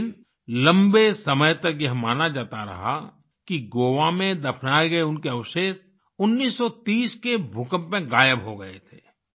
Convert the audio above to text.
लेकिन लंबे समय तक यह माना जाता रहा कि गोवा में दफनाए गए उनके अवशेष 1930 के भूकंप में गायब हो गए थे